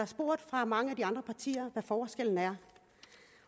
spurgt fra mange af de andre partier hvad forskellen er